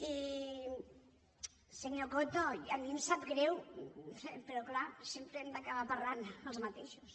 i senyor coto a mi em sap greu però clar sempre hem d’acabar parlant els mateixos